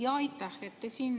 Jaa, aitäh!